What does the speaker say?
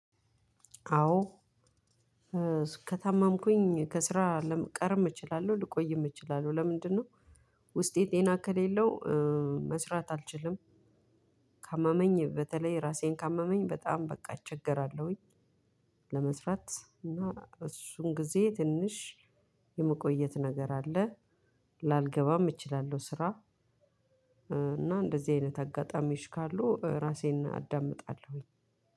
አዎ። ከታመምኩኝ ከስራ ለመቀረም እችላለሁ ልቆይም እችላለሁ። ለምንድነው? ውስጤ ጤና ከሌለው መስራት አልችልም። ካመመኝ በተለይ ራሴን ካመመኝ በጣም በቃ እቸገራለሁኝ። ለመስራት እና እሱን ጊዜ ትንሽ የመቆየት ነገር አለ። ላልገባም እችላለሁ ስራ። እና እንደዚህ አይነት አጋጣሚዎች ካሉ ራሴን አዳምጣለሁኝ።